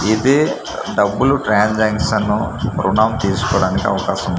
ఇదే డబ్బులు ట్రాన్సక్షన్ ఋణం తీసుకోడానికి అవకాశం ఉంటుంది.